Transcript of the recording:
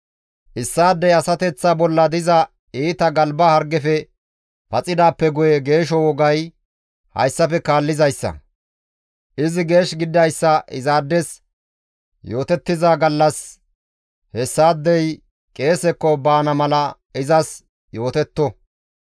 «Issaadey asateththa bolla diza iita galba hargefe paxidaappe guye geesho wogay hayssafe kaallizayssa; izi geesh gididayssa izaades yootettiza gallas hessaadey qeesekko baana mala izas yootetto.